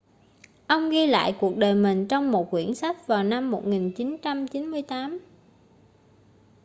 ông ghi lại cuộc đời mình trong một quyển sách vào năm 1998